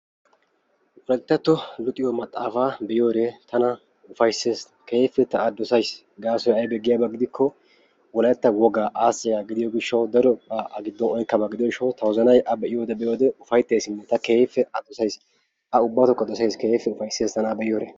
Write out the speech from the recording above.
wolayttattuwa luxxiyo maxaataa: maxaafatuussi bochchoy kooshshees. gaasoykka daruwaa luxidi biida kifileti bantta kahaan de'iyaa eraa banttanaara moogettenna mala xaafidi yelettape yelettawu adl"ana mala oottido oge gidiyoo giishshaw.